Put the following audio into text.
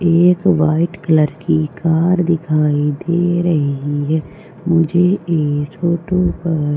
एक white colour की car दिखाई दे रही है मुझे इस फोटो पर--